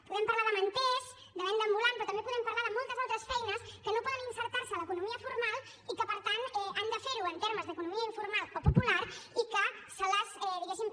podem parlar de manters de venda ambulant però també podem parlar de moltes altres feines que no poden inserir se en l’economia formal i que per tant han de fer ho en termes d’economia informal o popular i que se les diguéssim